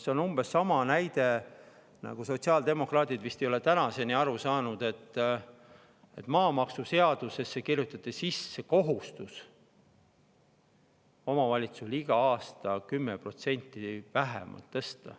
See on umbes sama näide nagu see, et sotsiaaldemokraadid ei ole vist tänaseni aru saanud, et maamaksuseadusesse kirjutati sisse omavalitsuste kohustus iga aasta maksu vähemalt 10% tõsta.